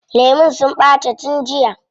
Lemun sun ɓaci tun jiya.